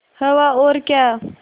हवा और क्या